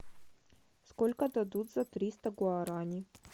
сколько дадут за триста гуараней